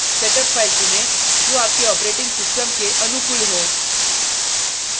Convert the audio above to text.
setup file चुनें जो आपके operating system के अनुकूल हो